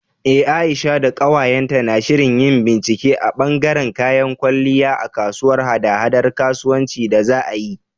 Eh Aisha da ƙawayenta na shirin yin bincike a ɓangaren kayan kwalliya a kasuwar haɗa-haɗar kasuwanci da za a yi.